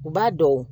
U b'a dɔn